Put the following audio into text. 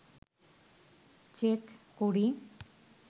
check করি